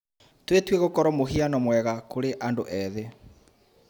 Twĩtue gũkorwo mũhiano mwega kũrĩ andũ ethĩ.